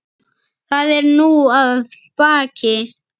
Það er nú að baki.